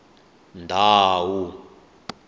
ndhawu